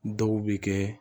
Dɔw bɛ kɛ